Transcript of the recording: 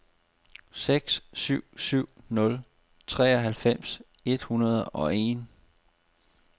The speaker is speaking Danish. seks syv syv nul treoghalvfems et hundrede og en